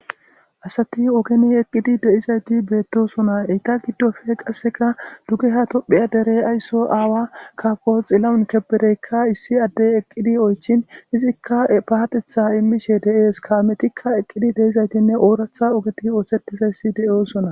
Asati ogeni eqqidi de'izayti beettosona. Eta giddofe qasseka dugeha tophiya dere ayso aawa kaafo xilawun kebedeykka issi addey eqqidi oychin izikka ee paatetha immishe de'ees. Kaametikka eqqidi de'izaytinne ooratha ogeti ooththetizayssi de'oosona.